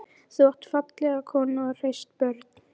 Þú átt fallega konu og hraust börn.